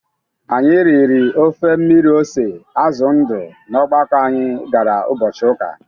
Anyị riri ofe mmiri ose azụ ndụ n'ọgbakọ anyi gara ụbọchị ụka.